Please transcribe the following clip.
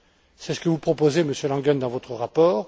C'est ce que vous proposez, Monsieur Langen, dans votre rapport.